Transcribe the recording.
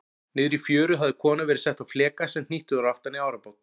Niðri í fjöru hafði kona verið sett á fleka sem hnýttur var aftan í árabát.